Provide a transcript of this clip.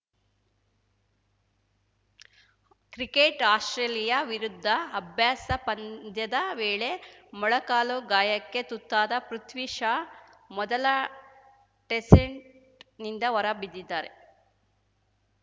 cricket Australia ವಿರುದ್ಧ ಅಭ್ಯಾಸ ಪಂದ್ಯದ ವೇಳೆ ಮೊಣಕಾಲು ಗಾಯಕ್ಕೆ ಗುತ್ತಾದ ಪೃಥ್ವಿ ಶಾ ಮೊದಲ ಟೆಸೆಂಟ್ನಿಂದ ಹೊರಬಿದ್ದಿದ್ದಾರೆ